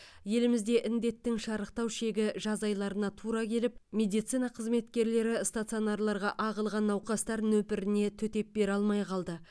елімізде індеттің шарықтау шегі жаз айларына тура келіп медицина қызметкерлері стационарларға ағылған науқастар нөпіріне төтеп бере алмай қалды